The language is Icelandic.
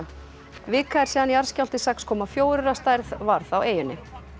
vika er síðan jarðskjálfti sex komma fjórir að stærð varð á eyjunni